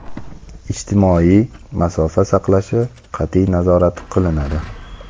ijtimoiy masofa saqlashi qat’iy nazorat qilinadi.